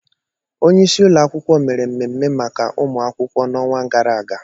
Onye isi ụlọ akwụkwọ mere mmemme maka ụmụ akwụkwọ n'onwa gara aga.